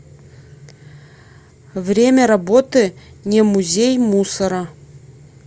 время работы немузей мусора